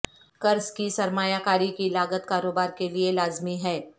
قرض کی سرمایہ کاری کی لاگت کاروبار کے لئے لازمی ہے